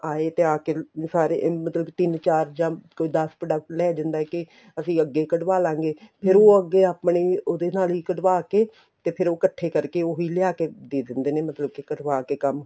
ਆਏ ਤੇ ਆਕੇ ਸਾਰੇ ਮਤਲਬ ਕੇ ਤਿੰਨ ਚਾਰ ਕੋਈ ਦਸ product ਲੇ ਜਾਂਦਾ ਏ ਅਸੀਂ ਅੱਗੇ ਕੱਢਾਵ ਲਾ ਗਏ ਫ਼ੇਰ ਉਹ ਅੱਗੇ ਆਪਣੇ ਉਹਦੇ ਨਾਲ ਹੀ ਕੱਢਾਵ ਕੇ ਤੇ ਫ਼ੇਰ ਇੱਕਠੇ ਕਰਕੇ ਉਹੀ ਲਿਆਕੇ ਦੇ ਦਿੰਦੇ ਨੇ ਮਤਲਬ ਕਰਵਾ ਕੇ ਕੰਮ